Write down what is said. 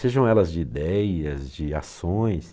Sejam elas de ideias, de ações.